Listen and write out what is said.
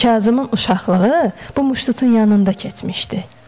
Kazımın uşaqlığı bu muşdutun yanında keçmişdi.